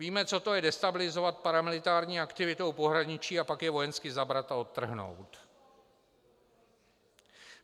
Víme, co to je destabilizovat paramilitární aktivitou pohraničí a pak je vojensky zabrat a odtrhnout.